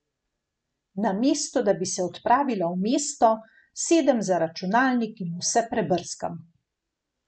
Namesto da bi se odpravila v mesto, sedem za računalnik in vse prebrskam.